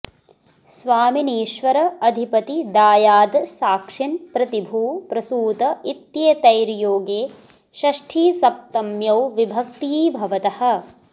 स्वामिनीश्वर अधिपति दायाद साक्षिन् प्रतिभू प्रसूत इत्येतैर् योगे षष्ठीसप्तम्यौ विभक्ती भवतः